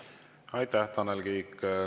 Aitäh, Tanel Kiik!